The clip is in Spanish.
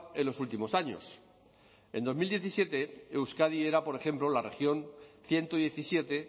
en los últimos años en dos mil diecisiete euskadi era por ejemplo la región ciento diecisiete